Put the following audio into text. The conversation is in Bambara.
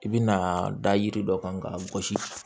I bi na da yiri dɔ kan k'a gosi